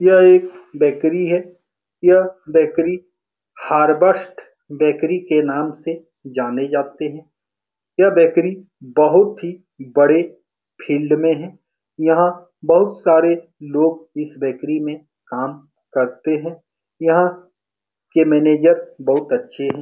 यह एक बेकरी है। यह बेकरी हारबस्ट बेकरी के नाम से जाने जाते हैं। यह बेकरी बहुत ही बड़े फील्ड में है। यहाँ बहुत सारे लोग इस बेकरी में काम करते हैं। यहाँ के मैनेजर बहुत ही अच्छे हे।